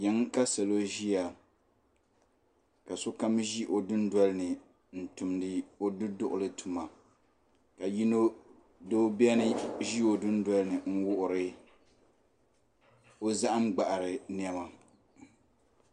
Yiŋa ka sokam ʒia ka sokam ʒi o dundolini n tumdi o duduɣuli tuma ka doo ʒi o dundolini n wuɣiri o zahim gbaɣari niɛma.